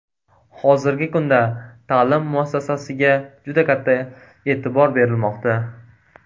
Hozirgi kunda ta’lim muassasasiga juda katta e’tibor berilmoqda.